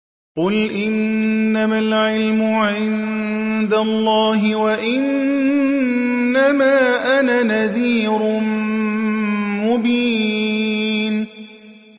قُلْ إِنَّمَا الْعِلْمُ عِندَ اللَّهِ وَإِنَّمَا أَنَا نَذِيرٌ مُّبِينٌ